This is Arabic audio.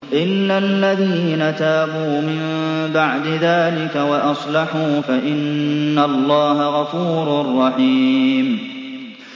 إِلَّا الَّذِينَ تَابُوا مِن بَعْدِ ذَٰلِكَ وَأَصْلَحُوا فَإِنَّ اللَّهَ غَفُورٌ رَّحِيمٌ